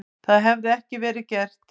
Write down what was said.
Það hefði ekki verið gert.